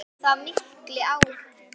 Hafði það mikil áhrif?